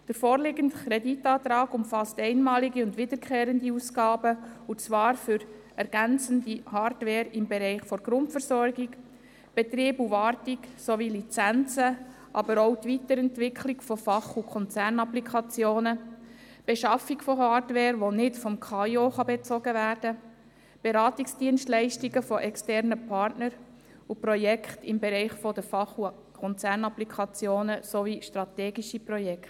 Der vorliegende Kreditantrag umfasst einmalige und wiederkehrende Ausgaben für ergänzende Hardware im Bereich von Grundversorgung, Betrieb und Wartung sowie Lizenzen, aber auch die Weiterentwicklung von Fach- und Konzernapplikationen, die Beschaffung von Hardware, welche nicht vom KAIO bezogen werden kann, Beratungsdienstleistungen von externen Partnern und Projekte im Bereich der Fach- und Konzernapplikationen sowie strategische Projekte.